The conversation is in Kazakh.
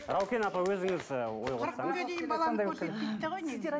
раукен апа өзіңіз ы ой қоссаңыз